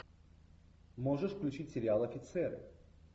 можешь включить сериал офицеры